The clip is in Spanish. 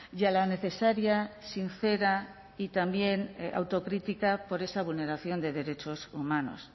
y a la necesaria sincera y también autocrítica por esa vulneración de derechos humanos